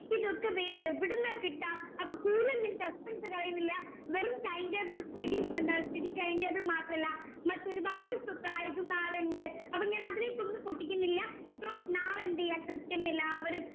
ഇതൊക്കെ വേറെ എവിടുന്നാ കിട്ടുവാ അപ്പൊ കൂടുതൽ ഞാൻ suspense കളയുന്നില്ല വെറും timetable ഉം study എന്താ study timetable മാത്രല്ല മറ്റൊരുപാട് surprises ഉം നാളെയുണ്ട് അപ്പൊ ഞാൻ അതിനെക്കുറിച്ചു പൊട്ടിക്കുന്നില്ല so നാളെ എന്ത് ചെയ്യുവാ കൃത്യം എല്ലാവരും